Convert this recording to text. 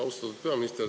Austatud peaminister!